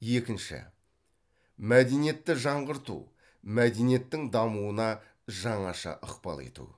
екінші мәдениетті жаңғырту мәдениеттің дамуына жаңаша ықпал ету